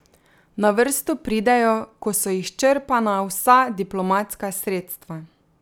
Na vrsto pridejo, ko so izčrpana vsa diplomatska sredstva.